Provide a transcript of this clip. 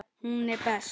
Hún er best.